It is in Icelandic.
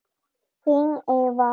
Þín Eva